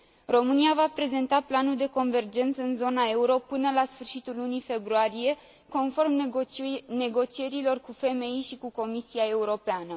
România va prezenta planul de convergență în zona euro până la sfârșitul lunii februarie, conform negocierilor cu FMI și cu Comisia Europeană.